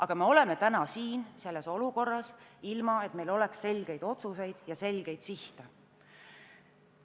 Aga ometi oleme täna siin selles olukorras, ilma et meil oleks selgeid otsuseid ja selgeid sihte.